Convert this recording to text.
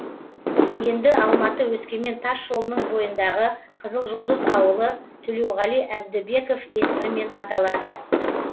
енді алматы өскемен тасжолының бойындағы қызылжұлдыз ауылы төлеуғали әбдібеков есімімен аталады